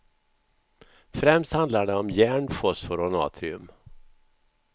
Främst handlar det om järn, fosfor och natrium.